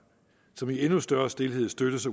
som i endnu større stilhed støttes